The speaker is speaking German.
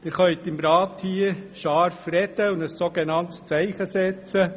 Sie können hier im Rat scharfe Worte äussern und ein Zeichen setzen.